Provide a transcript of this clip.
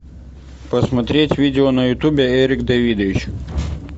посмотреть видео на ютубе эрик давидович